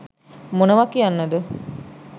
මොනවා කියන්න ද?